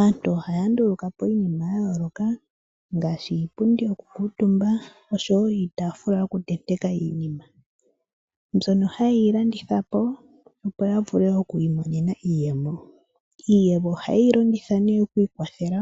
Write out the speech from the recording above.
Aantu ohaya nduluka po iinima ya yooloka ngaashi iipundi yoku kuutumba osho wo iitafula yoku tenteka iinima, mbyono haye yi landithapo opo ya vule okwii monena iiyemo. Iiyemo ohaye yi longitha ne okwii kwathela